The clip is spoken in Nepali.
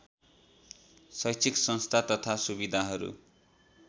शैक्षिक संस्था तथा सुविधाहरू